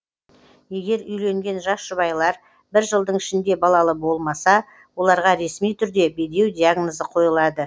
егер үйленген жас жұбайлар бірінші жылдың ішінде балалы болмаса оларға ресми түрде бедеу диагнозы қойылады